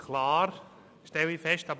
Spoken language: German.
Es ist eigentlich alles klar.